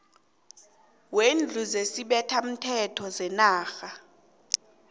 wendlu yesibethamthetho senarha